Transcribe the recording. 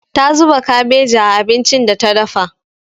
Ta zuba kabeji a abincin da ta dafa.